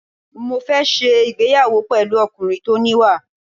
Mo fẹ́ ṣe ìgbéyàwó pẹ̀lú ọkùnrin tó níwà.